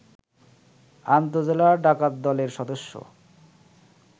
আন্তঃজেলা ডাকাতদলের সদস্য